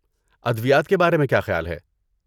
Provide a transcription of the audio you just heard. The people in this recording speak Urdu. ادویات کے بارے میں کیا خیال ہے؟